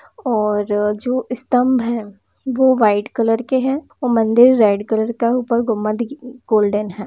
और ज जो स्तंभ है वो व्हाइट कलर के हैं और मंदिर रेड कलर का ऊपर गुंबद उ गोल्डन है।